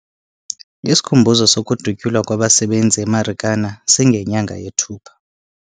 Isikhumbuzo sokudutyulwa kwabasebenzi eMarikana singenyanga yeThupha.